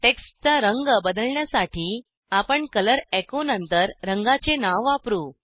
टेक्स्टचा रंग बदलण्यासाठी आपण कलर एचो नंतर रंगाचे नाव वापरू